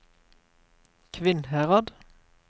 Kvinnherad